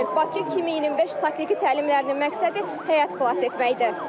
Bakı 2025 taktiki təlimlərinin məqsədi həyat xilas etməkdir.